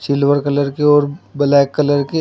silver colour के और black colour के--